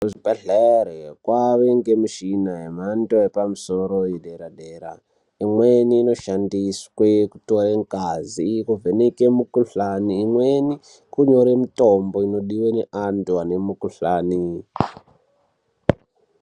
Kuzvibhedhlere kwave ngemishina yemhando yepamusoro yedera dera. Imweni inoshandiswe kutore ngazi, kuvheneke mikuhlani, imweni kunyore mitombo inodiwe neantu ane mikuhlani.